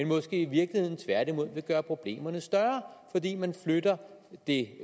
måske i virkeligheden tværtimod vil gøre problemerne større fordi man flytter det